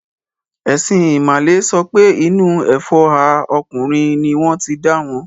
Ẹ̀sìn ìmàle sọ pé inú ẹfọ́hà ọkùnrin ní wọ́n ti dáwọn.